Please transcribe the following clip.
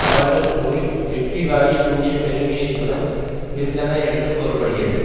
அவர்கள் ஒரு வெற்றி வாகை சூடிய பெருமிதத்துடன் இருந்தனர் என்று கூற படுகிறது